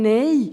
Nein.